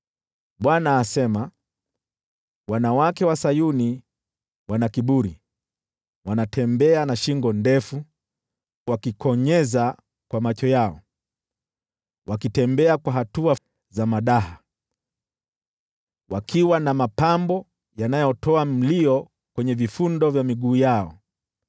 Bwana asema, “Wanawake wa Sayuni wana kiburi, wanatembea na shingo ndefu, wakikonyeza kwa macho yao, wanatembea kwa hatua za madaha, wakiwa na mapambo ya njuga kwenye vifundo vya miguu yao.